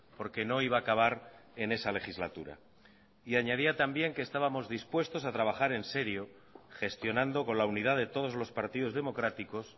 porque no iba a acabar en esa legislatura y añadía también que estábamos dispuestos a trabajar en serio gestionando con la unidad de todos los partidos democráticos